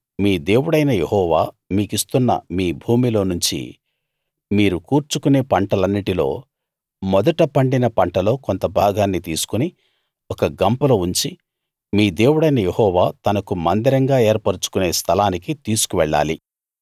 మీ దేవుడైన యెహోవా మీకిస్తున్న మీ భూమిలో నుంచి మీరు కూర్చుకొనే పంటలన్నిట్లో మొదట పండిన పంటలో కొంత భాగాన్ని తీసుకుని ఒక గంపలో ఉంచి మీ దేవుడైన యెహోవా తనకు మందిరంగా ఏర్పరచుకొనే స్థలానికి తీసుకువెళ్ళాలి